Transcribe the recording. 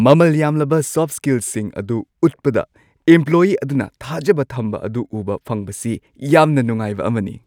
ꯃꯃꯜ ꯌꯥꯝꯂꯕ ꯁꯣꯐꯠ ꯁ꯭ꯀꯤꯜꯁꯤꯡ ꯑꯗꯨ ꯎꯠꯄꯗ ꯏꯝꯄ꯭ꯂꯣꯌꯤ ꯑꯗꯨꯅ ꯊꯥꯖꯕ ꯊꯝꯕ ꯑꯗꯨ ꯎꯕ ꯐꯪꯕꯁꯤ ꯌꯥꯝꯅ ꯅꯨꯡꯉꯥꯏꯕ ꯑꯃꯅꯤ꯫